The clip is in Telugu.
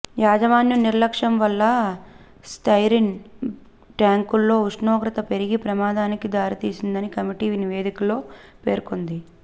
యాజమాన్యం నిర్లక్ష్యం వల్ల స్టైరిన్ ట్యాంకుల్లో ఉష్ణోగ్రత పెరిగి ప్రమాదానికి దారితీసిందని కమిటీ నివేదికలో పేర్కొంది